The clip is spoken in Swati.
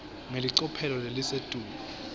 ngelicophelo lelisetulu